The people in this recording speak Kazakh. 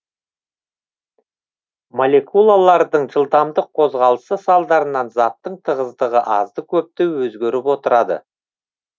молекулалардың жылдамдық қозғалысы салдарынан заттың тығыздығы азды көпті өзгеріп отырады